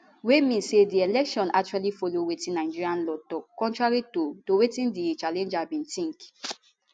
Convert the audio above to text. wey mean say di election actually follow wetin nigeria law tok contrary to to wetin di challenger bi tink